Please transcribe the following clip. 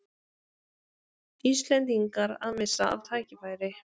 Íslendingar að missa af tækifæri